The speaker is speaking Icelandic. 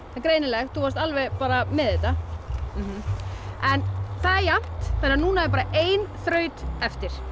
það er greinilegt þú varst alveg með þetta það er jafnt þannig að núna er bara ein þraut eftir